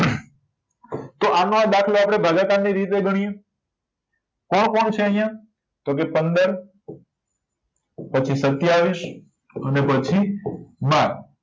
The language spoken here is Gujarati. તો આનો આ દાખલો આપણે ભાગાકારની રીતે ગણ્યે કોણ કોણ છે આયા તો કે પંદર પછી સત્યાવીસ અને પછી બાર